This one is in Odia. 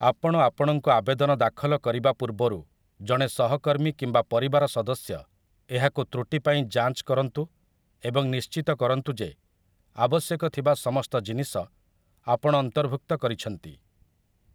ଆପଣ ଆପଣଙ୍କ ଆବେଦନ ଦାଖଲ କରିବା ପୂର୍ବରୁ, ଜଣେ ସହକର୍ମୀ କିମ୍ବା ପରିବାର ସଦସ୍ୟ ଏହାକୁ ତ୍ରୁଟି ପାଇଁ ଯାଞ୍ଚ କରନ୍ତୁ ଏବଂ ନିଶ୍ଚିତ କରନ୍ତୁ ଯେ ଆବଶ୍ୟକ ଥିବା ସମସ୍ତ ଜିନିଷ ଆପଣ ଅନ୍ତର୍ଭୁକ୍ତ କରିଛନ୍ତି ।